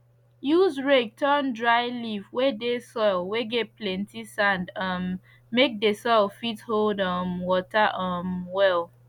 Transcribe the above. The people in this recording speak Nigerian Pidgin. use rake turn dry leave whey dey soil whey get plenty sand um make the soil fit hold um water um well